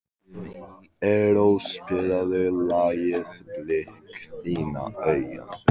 Erró, spilaðu lagið „Blik þinna augna“.